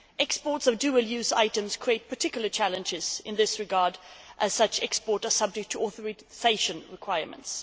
Exports of dual use items create particular challenges in this regard, as such exports are subject to authorisation requirements.